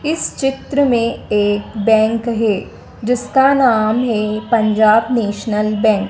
इस चित्र में एक बैंक है जिसका नाम है पंजाब नेशनल बैंक ।